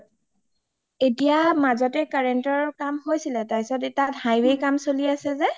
এতিয়া মাজতে current ৰ কাম হৈছিলে তাৰ পিছত তাত highway কাম চলি আছে যে